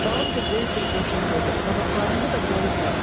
Dalınca böyük bir qoşun gedir, qabaqlarında da Bolu bəy.